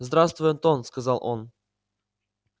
здравствуй антон сказал он